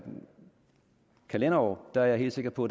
kalenderår er jeg helt sikker på